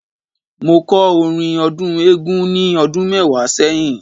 Mo kọ́ orin ọdún Eégún ni ọdún mẹ́wàá sẹ́yìn.